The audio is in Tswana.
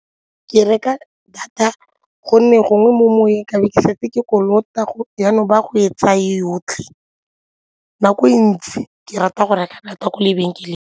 Ke reka data gonne gongwe mo moweng ke be ke setse ke kolota jaanong ba ya go e tsaya yotlhe, nako e ntsi ke rata go reka data kwa lebenkeleng.